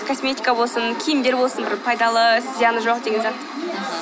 косметика болсын киімдер болсын бір пайдалы зияны жоқ деген зат